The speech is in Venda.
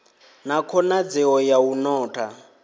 na khonadzeo ya u notha